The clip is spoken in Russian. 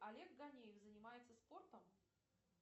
олег ганеев занимается спортом